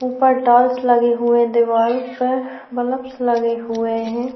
ऊपर टाइल्स लगे हुए दीवार पर बल्बस लगे हुए हैं।